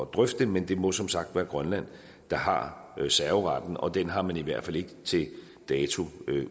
drøfte det men det må som sagt være grønland der har serveretten og den har man i hvert fald ikke til dato